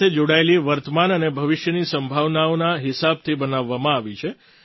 આ નીતિ ડ્રૉન સાથે જોડાયેલી વર્તમાન અને ભવિષ્યની સંભાવનાઓના હિસાબથી બનાવવામાં આવી છે